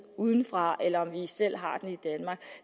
udefra eller om vi selv har den